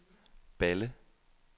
Balle